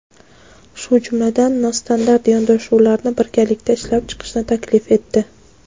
shu jumladan "nostandart" yondashuvlarni birgalikda ishlab chiqishni taklif etdi.